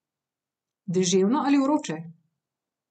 Deževno ali vroče?